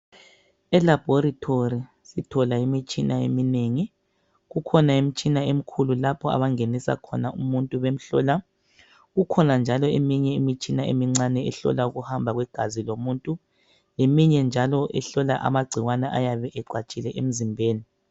Elabhorithori sithola imitshina eminengi, kukhona imitshina emikhulu lapho abangenisa khona umuntu bemuhlola, kukhona njalo eminye imitshina emincane ehlola ukuhamba igazi lomuntu, leminye njalo ehlola amagcikwane ayabe ecatshile emizimbeni